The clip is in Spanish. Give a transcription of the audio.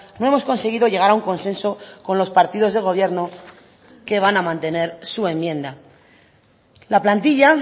no hemos conseguido llegar a un consenso con los partidos de gobierno que van a mantener su enmienda la plantilla